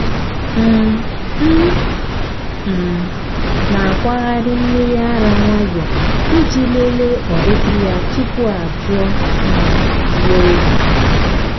um m um na-akwagharị mmiri ara nwayọọ iji lelee ọdịdị ya tupu ajụọ um ya oyi.